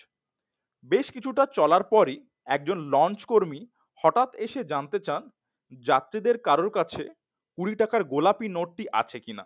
বেশ কিছুটা চলার পরেই একজন লঞ্চ কর্মী হঠাৎ এসে জানতে চান যাত্রীদের কারো কাছে কুড়ি টাকার গোলাপী নোটটি আছে কিনা